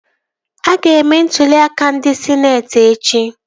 A ga-eme ntụli aka ndị sịneetị echi